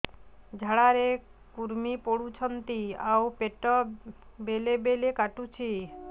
ଝାଡା ରେ କୁର୍ମି ପଡୁଛନ୍ତି ଆଉ ପେଟ ବେଳେ ବେଳେ କାଟୁଛି